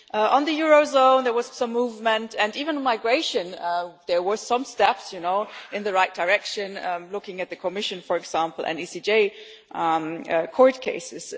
On the eurozone there was some movement, and even on migration there were some steps in the right direction looking at the Commission, for example, and ECJ court cases...